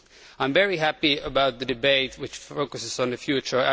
I am very happy about the debate, which focuses on the future.